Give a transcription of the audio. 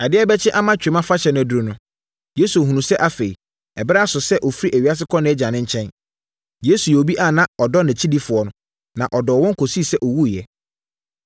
Adeɛ rebɛkye ama Twam Afahyɛ no aduru no, Yesu hunuu sɛ afei, berɛ aso sɛ ɔfiri ewiase kɔ nʼAgya nkyɛn. Yesu yɛ obi a na ɔdɔ nʼakyidifoɔ, na ɔdɔɔ wɔn kɔsii sɛ ɔwuiɛ.